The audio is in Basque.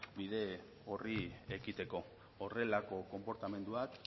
bide horri ekiteko horrelako konportamenduak